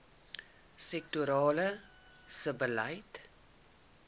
sektorale sebbeleid